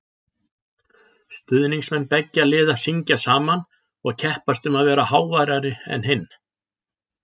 Stuðningsmenn beggja liða syngja saman og keppast um að vera háværari en hinn.